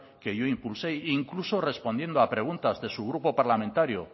que yo impulsé e incluso respondiendo a preguntas de su grupo parlamentario